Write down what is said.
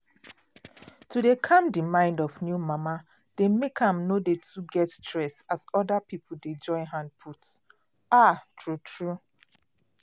to dey cam the mind of new mama dey make am no too get stress as other pipo dey join hand put. ah tru tru